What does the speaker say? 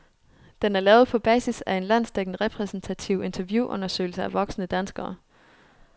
Den er lavet på basis af en landsdækkende repræsentativ interviewundersøgelse af voksne danskere.